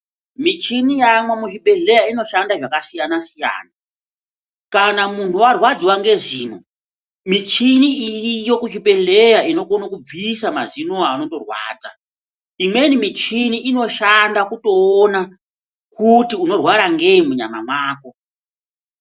Mishini yaamwo muzvibhedhleya inoshande zvakasiyana siyana kana muntu warwadziwa ngezino mishini iyi iriyo kuzvibhedhlera inokone kubvisa mazino inowo anotorwadza imweni mishini inotoshanda kutoona kuti unorwara ngei munyama mwako.